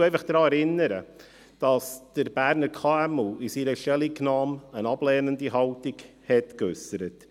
Ich erinnere einfach daran, dass der Dachverband der kleinen und mittleren Unternehmen (Berner KMU) in seiner Stellungnahme eine ablehnende Haltung äusserte.